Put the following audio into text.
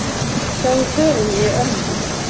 Sjáðu förin í örmunum.